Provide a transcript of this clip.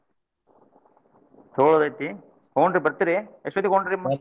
ತೊಗೋಳುದ್ ಐತಿ ಹುಂ ರೀ ಬರ್ತೀರಿ ಎಷ್ಟೋತ್ತಿಗ್ ಹೋಗುಣ್ರಿ?